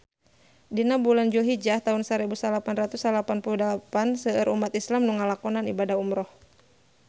Dina bulan Julhijah taun sarebu salapan ratus salapan puluh dalapan seueur umat islam nu ngalakonan ibadah umrah